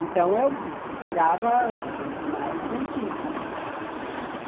Então, eu procurava os mais antigos.